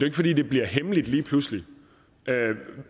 ikke fordi det bliver hemmeligt lige pludselig